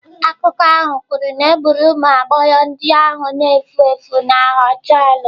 Akụkọ ahụ kwuru na egburu ụmụ agbọghọ ndị ahụ na-efu efu na họtel.